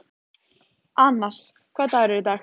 Annas, hvaða dagur er í dag?